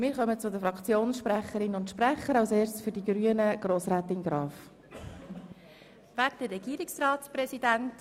Und wir versuchen, uns heute Morgen etwas vorbildlicher zu verhalten und etwas ruhiger zu sein.